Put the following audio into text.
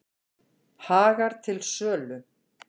Hagar til sölu